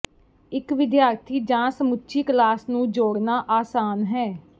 ਇਕ ਵਿਦਿਆਰਥੀ ਜਾਂ ਸਮੁੱਚੀ ਕਲਾਸ ਨੂੰ ਜੋੜਨਾ ਆਸਾਨ ਹੈ